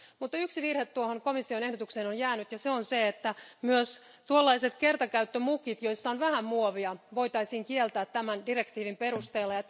Mutta yksi virhe tuohon komission ehdotuksen on jäänyt ja se on se, että myös kertakäyttömukit, joissa on vähän muovia, voitaisiin kieltää tämän direktiivin perusteella.